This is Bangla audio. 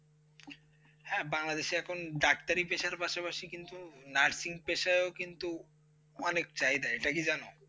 হ্যাঁ বাংলাদেশে এখন পেসার পাসাপাসি কিন্তু nursing পেসার অনেক চাহিদা এটা কি জানেন?